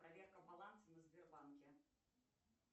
проверка баланса на сбербанке